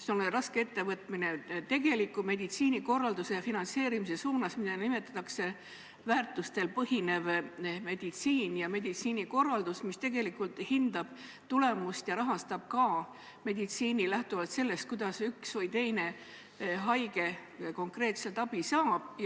see on raske ettevõtmine – meditsiinikorralduse ja finantseerimise suunas, mida nimetatakse väärtustel põhinevaks meditsiiniks ja meditsiinikorralduseks, mis tegelikult hindab tulemust ja rahastab ka meditsiini lähtuvalt sellest, kuidas üks või teine haige konkreetselt abi saab.